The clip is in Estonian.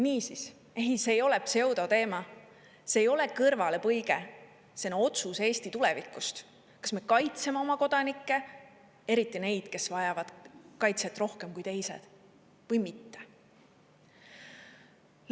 Niisiis, ei, see ei ole pseudoteema, see ei ole kõrvalepõige, see on otsus Eesti tulevikust, kas me kaitseme oma kodanikke, eriti neid, kes vajavad kaitset rohkem kui teised, või mitte.